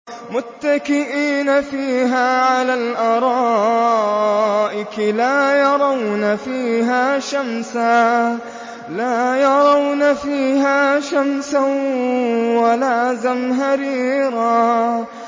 مُّتَّكِئِينَ فِيهَا عَلَى الْأَرَائِكِ ۖ لَا يَرَوْنَ فِيهَا شَمْسًا وَلَا زَمْهَرِيرًا